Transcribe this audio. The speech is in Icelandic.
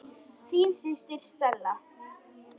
Þín systir, Stella.